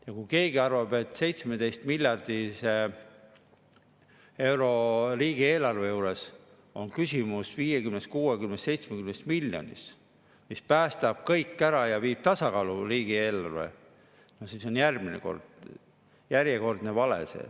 Ja kui keegi arvab, et 17-miljardilise riigieelarve juures on küsimus 50, 60, 70 miljonis, mis päästab kõik ära ja viib tasakaalu riigieelarve, siis see on järjekordne vale.